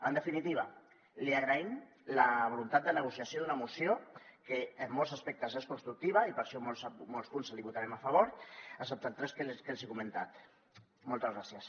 en definitiva li agraïm la voluntat de negociació d’una moció que en molts aspectes és constructiva i per això molts punts li votarem a favor excepte els tres que els he comentat moltes gràcies